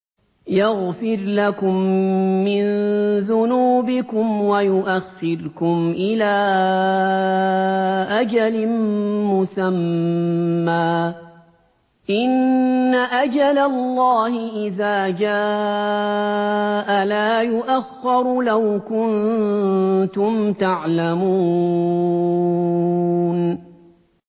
يَغْفِرْ لَكُم مِّن ذُنُوبِكُمْ وَيُؤَخِّرْكُمْ إِلَىٰ أَجَلٍ مُّسَمًّى ۚ إِنَّ أَجَلَ اللَّهِ إِذَا جَاءَ لَا يُؤَخَّرُ ۖ لَوْ كُنتُمْ تَعْلَمُونَ